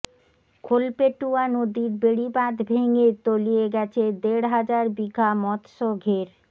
খোলপেটুয়া নদীর বেড়িবাঁধ ভেঙে তলিয়ে গেছে দেড় হাজার বিঘা মৎস্য ঘের